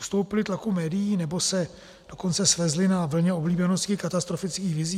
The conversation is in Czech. Ustoupili tlaku médií, nebo se dokonce svezli na vlně oblíbenosti katastrofických vizí?